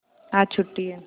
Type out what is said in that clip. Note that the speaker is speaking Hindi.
आज छुट्टी है